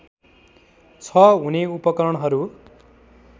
छ हुने उपकरणहरू